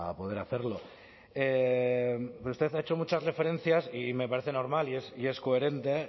poder hacerlo usted ha hecho muchas referencias y me parece normal y es coherente